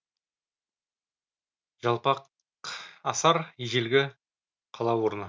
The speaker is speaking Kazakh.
жалпақасар ежелгі қала орны